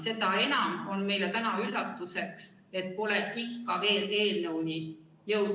Seda enam on meile üllatuseks, et pole ikka veel eelnõuni jõutud.